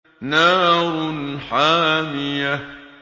نَارٌ حَامِيَةٌ